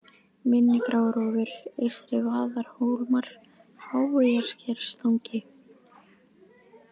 Mynni, Grárófur, Eystri-Vaðarhólmar, Háeyjarskerstangi